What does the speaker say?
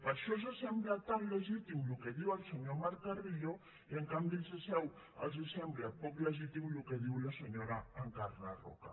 per això els sembla tan legítim el que diu el senyor marc carrillo i en canvi els sembla poc legítim el que diu la senyora encarna roca